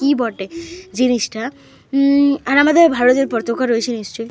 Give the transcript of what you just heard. ই বটে জিনিসটা। উই আর আমাদের ভারতের পতাকা রয়েছে নিশ্চয়ই।